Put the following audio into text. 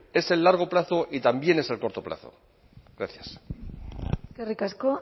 es el largo plazo y también es el corto plazo gracias eskerrik asko